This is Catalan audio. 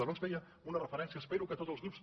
abans feia una referència espero que tots els grups